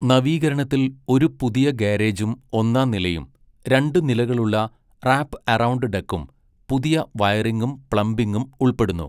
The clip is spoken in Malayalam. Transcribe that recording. നവീകരണത്തിൽ ഒരു പുതിയ ഗാരേജും ഒന്നാം നിലയും, രണ്ട് നിലകളുള്ള റാപ് എറൗണ്ട് ഡെക്കും, പുതിയ വയറിംഗും പ്ലംബിംഗും ഉൾപ്പെടുന്നു.